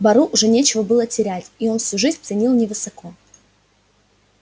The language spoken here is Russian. бару уже нечего было терять и свою жизнь он ценил невысоко